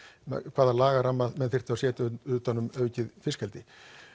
hvaða lagaramma menn þyrftu að setja utan um aukið fiskeldi